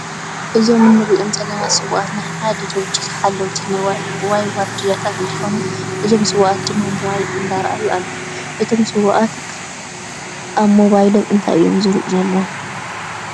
እዞም እንሪኦም ዘለና ሰውእት ናይ ሓደ ድርጅት ሓለውቲ ወይ ዋርድያ እንትኮኑ እዞም ሰውእት ድማ ሞባይል እንዳረአዩ ኣለዉ። እቶም ሰውእት ኣብ ሞባይሎም እንታይ እዮም ዝርእዩ ዘለዉ?